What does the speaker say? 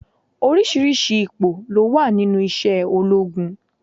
Oríṣiríṣi ipò ló wà nínú isé ológun